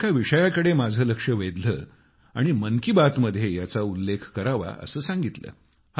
त्यांनी एका विषयाकडे माझे लक्ष वेधले आणि मन की बात मध्ये याचा उल्लेख करावा असे सांगितले